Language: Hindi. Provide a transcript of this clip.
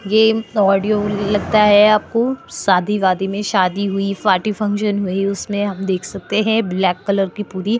ये ऑडियो लगता है आपको शादी-वादी में शादी हुई पार्टी फंक्शन हुई उसमें हम देख सकते है ब्लैक कलर की पूरी--